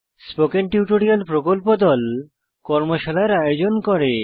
spoken tutorial প্রকল্প দল কর্মশালার আয়োজন করে